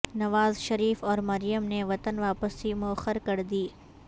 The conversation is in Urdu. نواز شریف اور مریم نے وطن واپسی موخر کردی